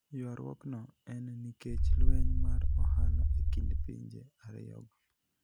Ywaruokno eni niikech lweniy mar ohala e kinid pinije ariyogo.